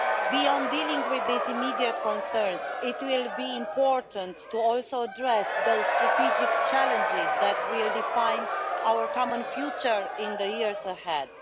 Beyond dealing with these immediate concerns, it will be important also to address those strategic challenges that will define our common future in the years ahead.